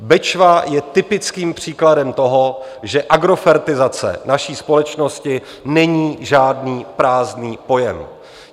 Bečva je typickým příkladem toho, že agrofertizace naší společnosti není žádný prázdný pojem.